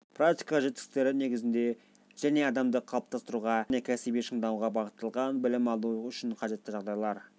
практика жетістіктері негізінде және адамды қалыптастыруға және кәсіби шыңдауға бағытталған білім алу үшін қажетті жағдайлар